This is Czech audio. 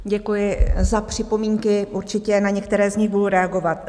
Děkuji za připomínky, určitě na některé z nich budu reagovat.